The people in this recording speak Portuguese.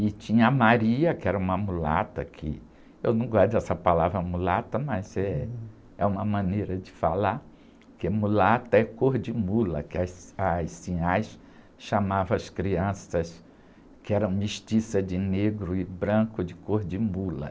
E tinha a Maria, que era uma mulata, que eu não gosto dessa palavra mulata, mas eh, é uma maneira de falar, porque mulata é cor de mula, que as, as sinhás chamavam as crianças, que eram mestiças de negro e branco, de cor de mula.